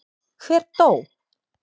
Hver dó?